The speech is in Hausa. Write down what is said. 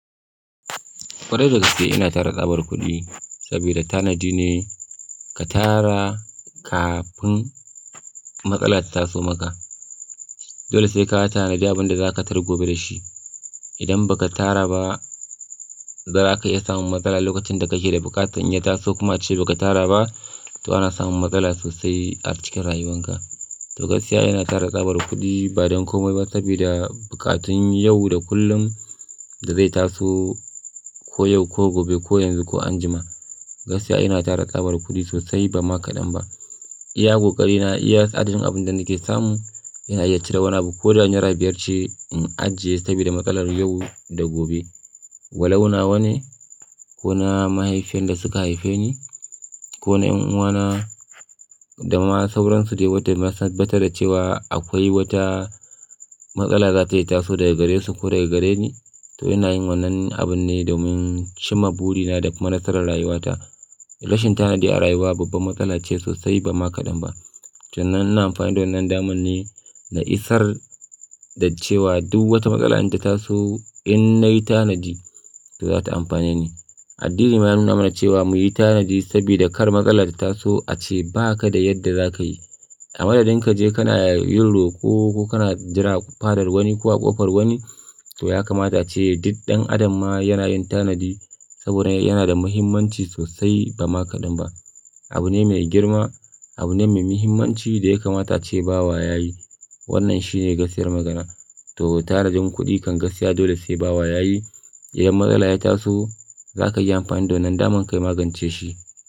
Ƙwarai da gaske ina tara tsabar kuɗi saboda tanadi ne ka tara kafin matsala ta taso maka. Dole sai ka tanadi abun da za ka tari gobe da shi. Idan ba ka tara ba, zaka iya samun matsala lokacin da kake da buƙata. In ya taso kuma ace ba ka tara ba, to ana samun matsala sosai a cikin rayuwanka. To gaskiya ina tara tsabar kuɗi ba don komai ba saboda buƙatun yau da kullum da zai taso ko yau ko gobe ko yanzu ko anjima. Gaskiya ina tara tsabar kuɗi sosai ba ma kaɗan ba. Iya ƙoƙari na iya adadin abun da nake samu, yana iya cire wani abu. Ko da naira biyar ce in ajiye saboda matsalar yau da gobe. Walau nawa ne ko na mahaifan da suka haife ni, ko na 'yan uwana da ma sauransu. Yauwa, da na tabbatar da cewa akwai wata matsala za ta yi taso daga gare su ko daga gare ni. To ina yin wannan abun ne domin cimma burina da kuma nasarar rayuwata. Rashin tanadi a rayuwa babbar matsala ce sosai ba ma kaɗan ba. To nan ina amfani da wannan damar ne na isar da cewa duk wata matsala inta taso, in nayi tanadi, to za ta amfane ni. Addini ma ya nuna mana cewa muyi tanadi saboda kar matsala ta taso ace ba ka da yadda za ka yi. A madadin ka je kana yin roko, ko kana jira fadar wani ko a ƙofar wani. To ya kamata a ce duk ɗan adam ma yana yin tanadi saboda yana da muhimmanci sosai ba ma kaɗan ba. Abu ne mai girma, abu ne mai muhimmanci da ya kamata a ce bawa ya yi. Wannan shi ne gaskiyar magana. To tanadin kuɗi kan gaskiya dole sai bawa ya yi. Idan matsala ya taso, za ka iya amfani da wannan damar ka magance shi.